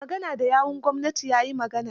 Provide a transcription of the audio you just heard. Mai magana da yawon gwamnatin ya yi magana.